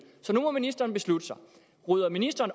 så nu må ministeren beslutte sig rydder ministeren